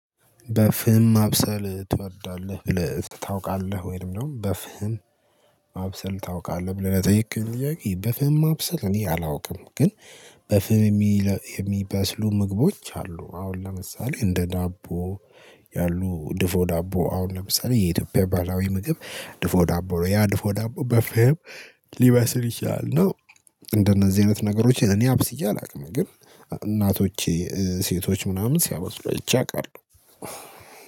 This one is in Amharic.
በፍህም ማብሰል ትወዳለህ? ብለህ ታውቃለህ ወይም ደግሞ በፍህም ማብሰል ታውቃለህ ብለህ ለጠየከኝ ጥያቄ በፍህም ማብሰል እኔ አላውቅም። ግን በፍህም የሚበስሉ ምግቦች አሉ። አሁን ለምሳሌ እንደ ዳቦ ያሉ ድፎ ዳቦ አሁን ለምሳሌ የኢትዮጵያ ባህላዊ ምግብ ድፎ ዳቦ ነው ያ ድፎ ዳቦ በፍህም ሊበስል ይችላል ነው። እንደነዚህ አይነት ነገሮች እኔ አብስዬ አላውቅም። ግን እናቶቼ ሴቶች ምናምን ሲያበስሉ አይቼ አዉቃለሁ